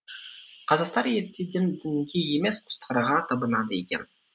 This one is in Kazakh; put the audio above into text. қазақтар ертеден дінге емес құстарға табынады екен